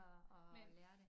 At at lære det